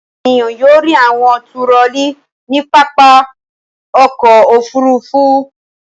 Ènìyàn yóò rí àwọn turọlí ní pápá ọkọ̀-òfurufú.